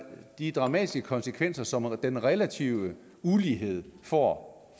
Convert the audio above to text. de dramatiske konsekvenser som den relative ulighed får